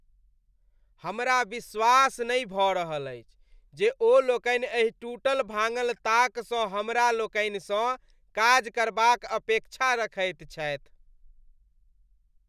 हमरा विश्वास नहि भऽ रहल अछि जे ओ लोकनि एहि टूटल भांगल ताकसँ हमरा लोकनिसँ काज करबाक अपेक्षा रखैत छथि ।